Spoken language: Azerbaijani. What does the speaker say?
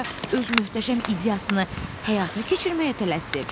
bəlkə öz möhtəşəm ideyasını həyata keçirməyə tələsib.